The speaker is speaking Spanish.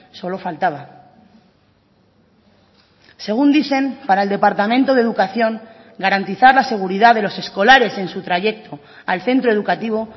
solo faltaba según dicen para el departamento de educación garantizar la seguridad de los escolares en su trayecto al centro educativo